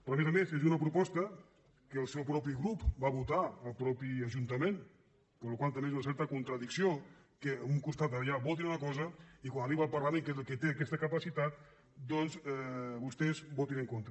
però a més a més és una proposta que el seu propi grup va votar al mateix ajuntament per la qual cosa també és una certa contradicció que per un costat allà votin una cosa i quan arriba al parlament que és el que té aquesta capacitat doncs vostès hi votin en contra